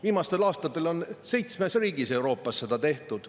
Viimastel aastatel on seitsmes Euroopa riigis seda tehtud.